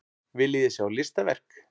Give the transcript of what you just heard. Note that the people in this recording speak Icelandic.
Viljiði sjá listaverk?